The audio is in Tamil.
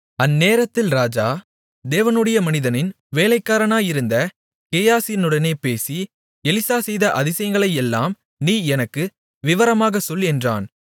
அந்நேரத்தில் ராஜா தேவனுடைய மனிதனின் வேலைக்காரனாயிருந்த கேயாசியுடனே பேசி எலிசா செய்த அதிசயங்களையெல்லாம் நீ எனக்கு விவரமாகச் சொல் என்றான்